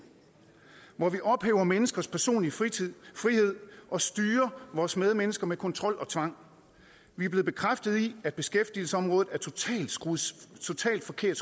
hvor vi ophæver menneskers personlige frihed og styrer vores medmennesker med kontrol og tvang vi er blevet bekræftet i at beskæftigelsesområdet er skruet totalt forkert